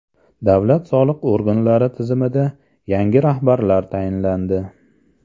Davlat soliq organlari tizimida yangi rahbarlar tayinlandi.